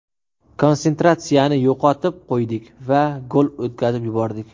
Konsentratsiyani yo‘qotib qo‘ydik va gol o‘tkazib yubordik.